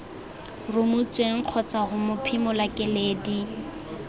rumotsweng kgotsa ho mophimola keledi